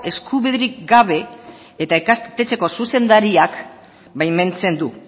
eskubiderik gabe eta ikastetxeko zuzendariak baimentzen du